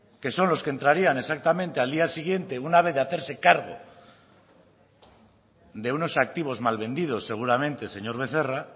que son los que entrarían exactamente al día siguiente una vez de hacerse cargo de unos activos mal vendidos seguramente señor becerra